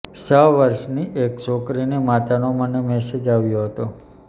છ વર્ષની એક છોકરીની માતાનો મને મેસેજ આવ્યો હતો